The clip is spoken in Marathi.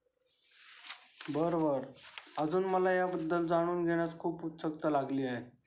बरं बरं अजून मला या बद्दल जाणून घेण्यास खूप उत्सुकता लागली आहे.